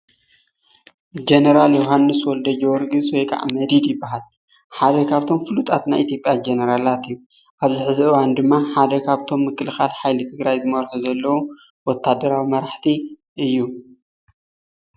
ጀነራል ዮሃንስ ወልደጀወርግስ ወይ ከዓ መዲድ ይበሃል። ሓደ ኻፍቶም ፍሉጣት ናይ ኢትዮጵያ ጀነራላት እዩ። ኣብዚ ሐዚ እውኔ ድማ ሓደ ካፍቶም ምክልኻል ሓይልታት ትግራይ ዝመርሑ ዘለው ወታደራዊ መራሕቲ እዩ።